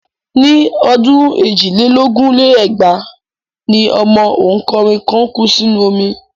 Ní ọdún èjì lé lógún lé lẹ́gbàá ni ọmọ òǹkọrin kan kú sínú omi.